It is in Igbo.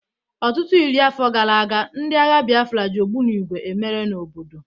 Ọtụtụ iri afọ gara aga, ndị agha Biafra ji ogbunigwe emere n'obodo